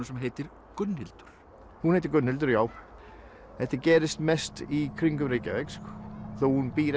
sem heitir Gunnhildur hún heitir Gunnhildur já þetta gerist mest í kringum Reykjavík hún býr